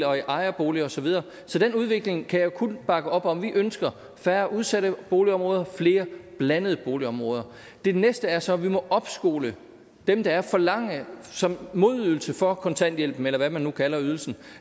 ejerboliger og så videre så den udvikling kan jeg kun bakke op om vi ønsker færre udsatte boligområder flere blandede boligområder det næste er så at vi må opskole dem der er og forlange som modydelse for kontanthjælpen eller hvad man nu kalder ydelsen